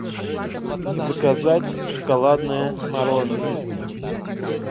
заказать шоколадное мороженое